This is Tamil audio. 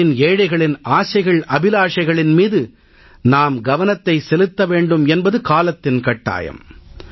நாட்டின் ஏழைகளின் ஆசைகள் அபிலாஷைகளின் மீது நாம் கவனத்தை செலுத்த வேண்டும் என்பது காலத்தின் கட்டாயம்